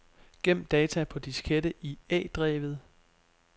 Gem data på diskette i A-drevet.